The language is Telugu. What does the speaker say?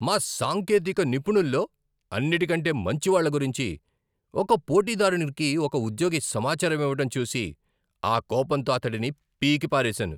మా సాంకేతిక నిపుణుల్లో అన్నిటికంటే మంచివాళ్ల గురించి ఒక పోటీదారునికి ఒక ఉద్యోగి సమాచారం ఇవ్వటం చూసి, ఆ కోపంతో అతడిని పీకిపారేసాను.